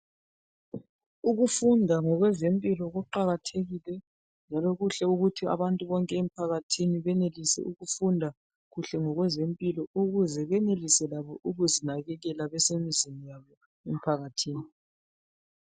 Ukufunda ngokwe zempilo kuqakathekile njalo kuhle ukuthi abantu bonke emphakathini benelise ukufunda kuhle ngokwezempilo, ukuze benelise labo ukuzinakekela besemzini yabo emphakathini.